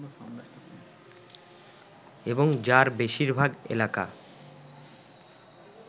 এবং যার বেশিরভাগ এলাকা